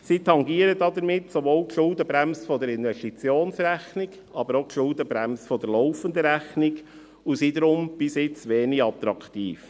Sie tangieren damit sowohl die Schuldenbremse der Investitionsrechnung als auch die Schuldenbremse der laufenden Rechnung und sind daher bis jetzt wenig attraktiv.